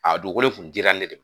A dugukolo in kun dira ne de